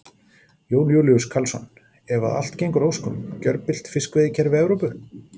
Jón Júlíus Karlsson: Ef að allt gengur að óskum, gjörbylt fiskveiðikerfi Evrópu?